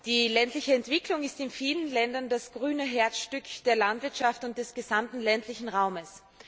Die ländliche Entwicklung ist in vielen Ländern das grüne Herzstück der Landwirtschaft und des gesamten ländlichen Raums.